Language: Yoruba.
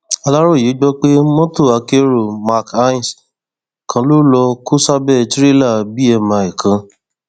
aláròye gbọ pé mọtò akérò mark hiace kan ló lọọ kó sábẹ tìrẹlà bmi kan